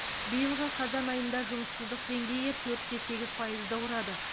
биылғы қазан айында жұмыссыздық деңгейі төрт те сегіз пайызды құрады